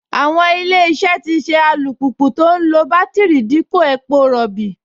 Àwọn Ilé-iṣẹ́ tì ṣe alùpùpù tó ń lo bátíìrì dípò epo rọ̀bì